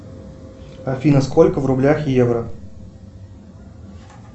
афина сколько в рублях евро